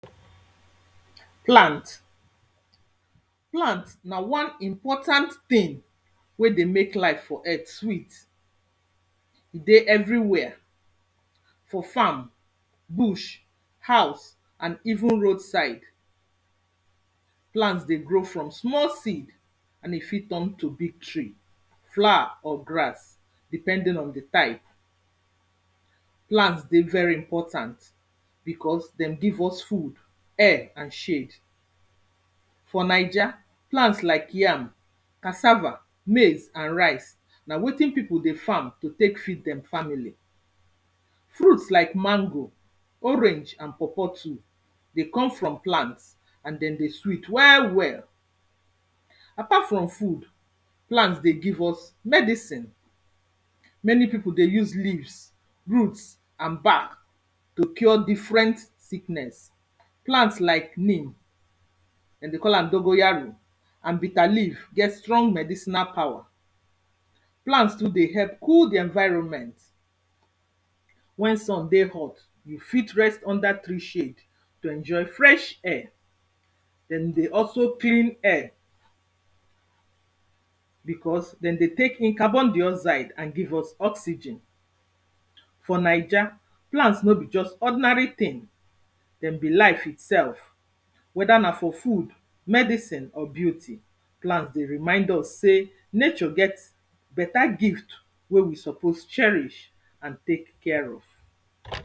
Plant. Plant na wan important thing weydey mek life for earth sweet, e dey everywhere for farm, bush, house and even roadside. Plants dey grow from small seed and e fit turn to big tree, flower or grass depending on di type. Plants dey very important because dem give us food, air and shade. For naija, plant like yam, cassava, maize and rice, na wetin pipo dey farm to tek feed dem family. Fruits like mango, orange and pawpaw too dey come from plants, and dem dey sweet well well. Apart from food, plants dey give us medicine, many pipu dey use leaves, roots and bark to cure different sickness. Plants like mule dem dey call am dongoyaro and bitter leaf get strong medicinal power. Plants too dey help cool di environment, when sun dey hot you fit rest under tree shade to enjoy fresh air, dem dey also clean air because, dem dey tek in carbondioxide and give us oxygen. For naija, plants no be just ordinary thing, dem be life itsef, wether na for food, medicine or beauty. Plant dey remind us sey nature get better gift wey we suppose cherish and tek care of.